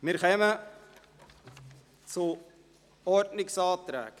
Wir kommen zu den Ordnungsanträgen.